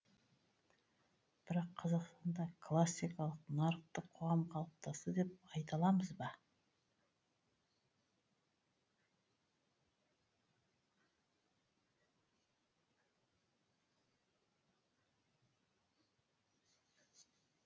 бірақ қазақстанда классикалық нарықтық қоғам қалыптасты деп айта аламыз ба